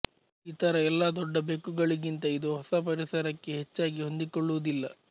ಇತರ ಎಲ್ಲ ದೊಡ್ಡ ಬೆಕ್ಕುಗಳಿಗಿಂತ ಇದು ಹೊಸ ಪರಿಸರಕ್ಕೆ ಹೆಚ್ಚಾಗಿಹೊಂದಿಕೊಳ್ಳುವುದಿಲ್ಲ